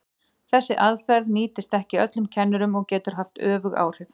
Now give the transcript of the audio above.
Þessi aðferð nýtist ekki öllum kennurum og getur haft öfug áhrif.